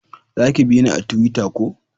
Za ki bina a tuwita ko?